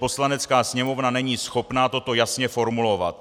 Poslanecká sněmovna není schopná toto jasně formulovat.